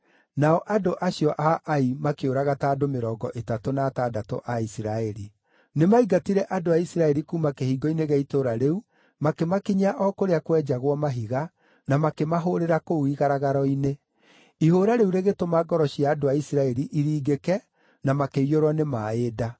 nao andũ acio a Ai makĩũraga ta andũ mĩrongo ĩtatũ na atandatũ a Isiraeli. Nĩmaingatire andũ a Isiraeli kuuma kĩhingo-inĩ gĩa itũũra rĩu makĩmakinyia o kũrĩa kwenjagwo mahiga, na makĩmahũũrĩra kũu igaragaro-inĩ. Ihũũra rĩu rĩgĩtũma ngoro cia andũ a Isiraeli iringĩke, na makĩiyũrwo nĩ maaĩ nda.